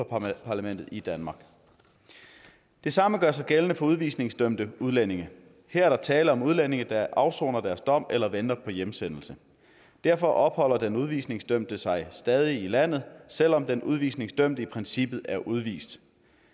parlamentet i danmark det samme gør sig gældende for udvisningsdømte udlændinge her er der tale om udlændinge der afsoner deres dom eller venter på hjemsendelse derfor opholder den udvisningsdømte sig stadig i landet selv om den udvisningsdømte i princippet er udvist